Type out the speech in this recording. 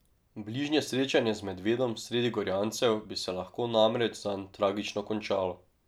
Bližnje srečanje z medvedom sredi Gorjancev bi se lahko namreč zanj tragično končalo.